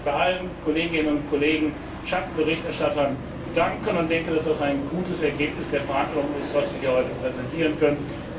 Ich möchte mich bei allen Kolleginnen und Kollegen Schattenberichterstattern bedanken und denke, dass das ein gutes Ergebnis der Verhandlungen ist, was wir heute präsentieren können.